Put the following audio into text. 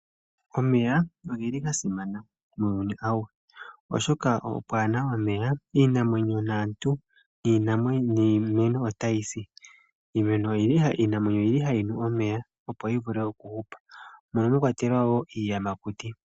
Omeya ogeli gasimana muuyuni awuhe oshoka pwaana omeya, iinamwenyo naantu niimeno otayi si. Iinamwenyo oyili hayi nu omeya opo yivule okuhupa mono mwakwatelwa iiyamakuti.